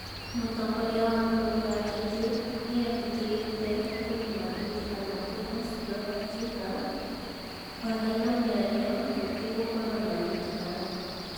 Mũtongoria wa bũrũri wa Turkey nĩerutĩrĩtea kũnina bĩtikano kwĩnacio akiuga kwagĩa na mĩario gũtigũkorwo na bĩtĩkano